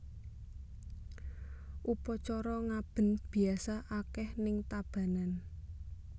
Upacara ngaben biasa akeh ning Tabanan